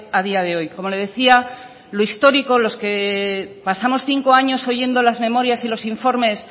a día de hoy como le decía lo histórico los que pasamos cinco años oyendo las memorias y los informes